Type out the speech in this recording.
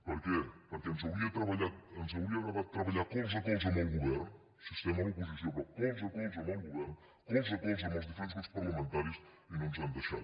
per què perquè ens hauria agradat treballar colze a colze amb el govern sí estem a l’oposició però colze a colze amb el govern colze a colze amb els diferents grups parlamentaris i no ens han deixat